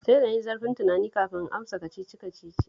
Sai da na yi zurfin tunani kafin in amsa Kacici-kacicin